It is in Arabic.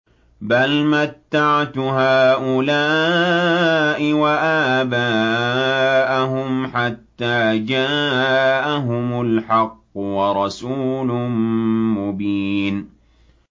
بَلْ مَتَّعْتُ هَٰؤُلَاءِ وَآبَاءَهُمْ حَتَّىٰ جَاءَهُمُ الْحَقُّ وَرَسُولٌ مُّبِينٌ